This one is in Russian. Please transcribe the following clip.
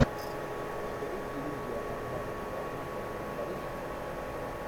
открой иллюзия обмана два с михаилом пореченковым